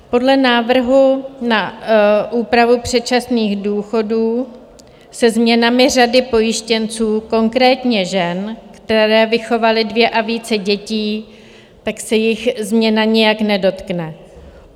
Podle návrhu na úpravu předčasných důchodů se změnami řady pojištěnců, konkrétně žen, které vychovaly dvě a více dětí, tak se jich změna nijak nedotkne.